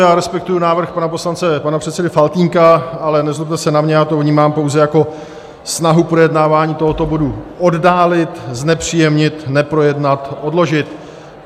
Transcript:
Já respektuji návrh pana poslance, pana předsedy Faltýnka, ale nezlobte se na mě, já to vnímám pouze jako snahu projednávání tohoto bodu oddálit, znepříjemnit, neprojednat, odložit.